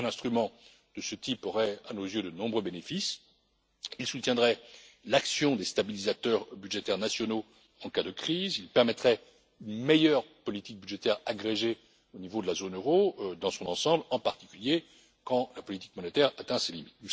Un instrument de ce type aurait à nos yeux de nombreux avantages il soutiendrait l'action des stabilisateurs budgétaires nationaux en cas de crise et il permettrait une meilleure politique budgétaire agrégée au niveau de la zone euro dans son ensemble, en particulier quand la politique monétaire atteint ses limites.